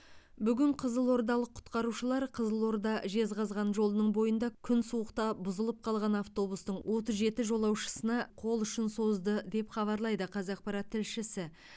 бүгін қызылордалық құтқарушылар қызылорда жезқазған жолының бойында күн суықта бұзылып қалған автобустың отыз жеті жолаушысына қол ұшын созды деп хабарлайды қазақпарат тілшісі